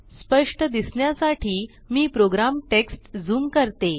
स्पष्ट दिसण्यासाठी मी प्रोग्राम टेक्स्ट ज़ूम करते